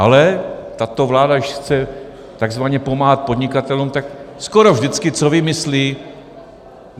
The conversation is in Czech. Ale tato vláda, když chce takzvaně pomáhat podnikatelům, tak skoro vždycky - co vymyslí?